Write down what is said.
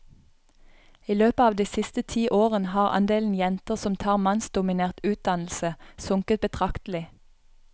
I løpet av de siste ti årene har andelen jenter som tar mannsdominert utdannelse, sunket betraktelig.